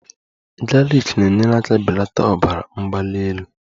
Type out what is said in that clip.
Galiki na-enyere aka belata ọbara mgbali elu